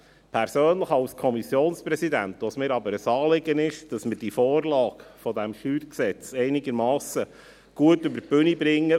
Persönlich, als Kommissionspräsident, ist es mir aber ein Anliegen, dass wir die Vorlage des StG einigermassen gut über die Bühne bringen.